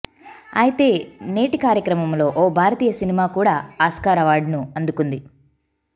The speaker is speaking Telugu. అయితే నేటి కార్యక్రమంలో ఓ భారతీయ సినిమా కూడా ఆస్కార్ అవార్డును అందుకుంది